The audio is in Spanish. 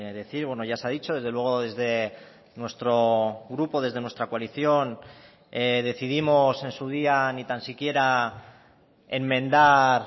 decir bueno ya se ha dicho desde luego desde nuestro grupo desde nuestra coalición decidimos en su día ni tan siquiera enmendar